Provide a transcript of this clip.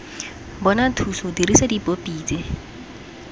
bona thuso dirisa dipopi tse